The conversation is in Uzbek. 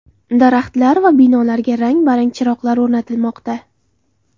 Daraxtlar va binolarga rang-barang chiroqlar o‘rnatilmoqda.